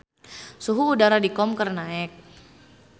Suhu udara di Qom keur naek